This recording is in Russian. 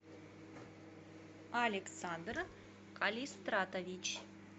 александр калистратович